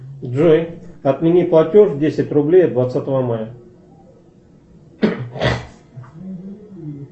джой отмени платеж десять рублей от двадцатого мая